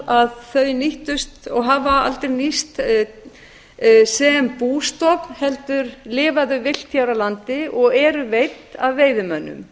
að þau nýttust og hafa aldrei nýst sem bústofn heldur lifa þau villt hér á landi og eru veidd af veiðimönnum